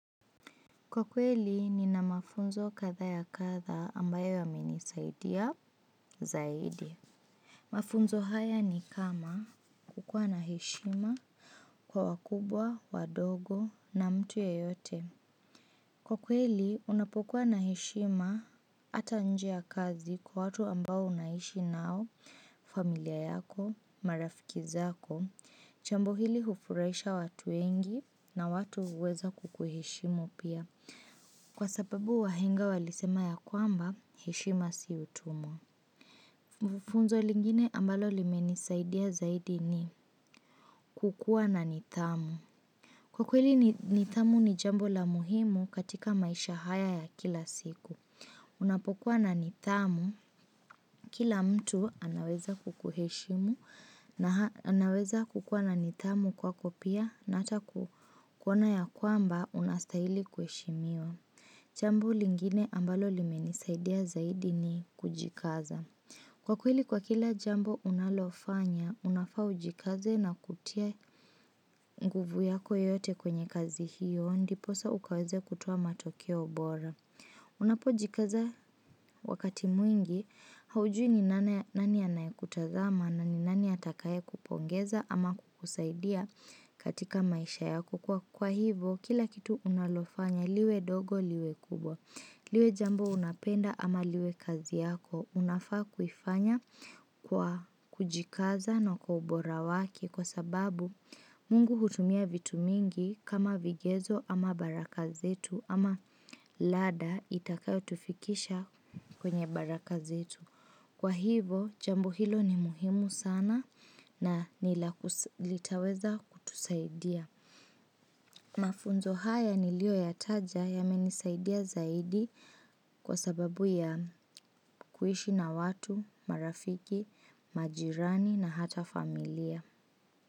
Kwa kweli nina mafunzo kadha ya kadha ambayo yamenisaidia zaidi. Mafunzo haya ni kama, kukua na heshima kwa wakubwa, wadogo na mtu yeyote. Kwa kweli, unapokua na heshima ata nje kazi kwa watu ambao unaishi nao, familia yako, marafiki zako, jambo hili hufurahisha watu wengi na watu huweza kukuheshimu pia. Kwa sababu wahenga walisema ya kwamba, heshima si utumwa. Funzo lingine ambalo limenisaidia zaidi ni, kukua na nidhamu. Kwa kweli nidhamu ni jambo la muhimu katika maisha haya ya kila siku. Unapokuwa na nidhamu, kila mtu anaweza kukuheshimu na anaweza kukua na nidhamu kwako pia na hata kuona ya kwamba unastahili kuheshimiwa. Jambu lingine ambalo limenisaidia zaidi ni, kujikaza. Kwa kweli kwa kila jambo unalofanya, unafaa ujikaze na kutia nguvu yako yote kwenye kazi hiyo ndiposa ukaweze kutoa matokeo bora. Unapojikaza wakati mwingi, haujui ni nani anayekutazama na ni nani atakaye kupongeza ama kukusaidia katika maisha yako. Kwa hivo kila kitu unalofanya liwe dogo liwe kubwa liwe jambo unapenda ama liwe kazi yako, unafaa kuifanya kwa kujikaza na kwa ubora wake kwa sababu Mungu hutumia vitu mingi kama vigezo ama baraka zetu ama ladder itakayo tufikisha kwenye baraka zetu. Kwa hivo, jambo hilo ni muhimu sana na litaweza kutusaidia. Mafunzo haya niliyoyataja yamenisaidia zaidi kwa sababu ya kuishi na watu, marafiki, majirani na hata familia.